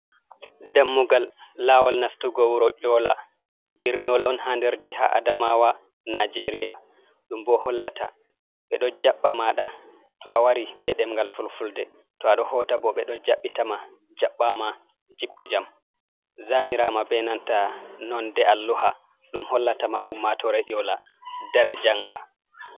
Dammugal laawol nastugo wuro ƴoola, birniwol on haa nder jiha adamaawa Najeeriya, ɗum boo hollata ɓe ɗo jaɓɓa maaɗa to a wari bee demngal fulfulde to a ɗo hoota boo ɓe ɗo jaɓɓita ma jaɓɓaama jippu jam, zaniraama bee nanta nonnde alluha ɗum hollata ma ummaatoore ƴoola dara jannga.